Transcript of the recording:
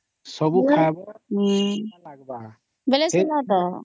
ହଁଁ ପରା